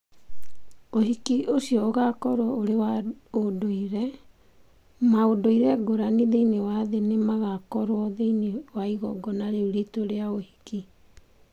Ũhiki ũcio ũgaakorũo ũrĩ wa ũndũire – maũndũire ngũrani thĩinĩ wa thĩ nĩ magaakorũo thĩinĩ wa igongona rĩu ritũ rĩa uhiki.